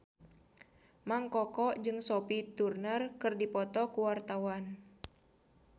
Mang Koko jeung Sophie Turner keur dipoto ku wartawan